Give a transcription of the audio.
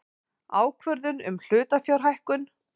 Ákvörðun um hlutafjárhækkun.